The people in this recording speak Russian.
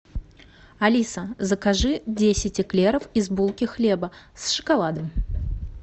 алиса закажи десять эклеров из булки хлеба с шоколадом